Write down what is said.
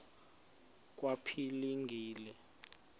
kwaphilingile